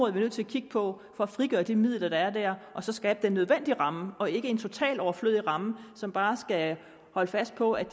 er vi nødt til at kigge på for at frigøre de midler der er der og så skabe den nødvendige ramme og ikke en totalt overflødig ramme som bare skal holde fast på at